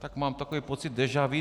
Tak mám takový pocit déja vu.